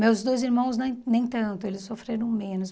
Meus dois irmãos nem nem tanto, eles sofreram menos.